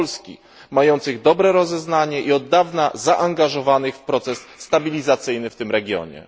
Polski, mających dobre rozeznanie i od dawna zaangażowanych w proces stabilizacyjny w tym regionie.